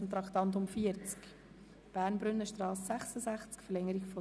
Wir kommen zu Traktandum 40.